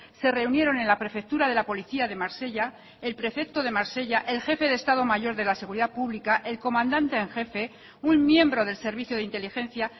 se reunieron en la prefectura de la policía de marsella el prefecto de marsella el jefe de estado mayor de la seguridad pública el comandante en jefe un miembro del servicio de inteligencia